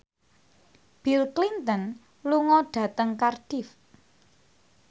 Bill Clinton lunga dhateng Cardiff